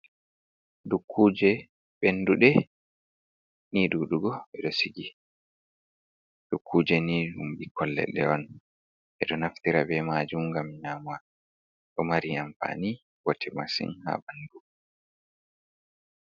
Dukkuje ɓenduɗe ni ɗuɗugo ɓeɗo sigi, dukkuje ni ɗum ɓukkoi leɗɗe on ɓeɗo naftira be majum gam nyama ɗo mari amfani bote masin ha ɓandu.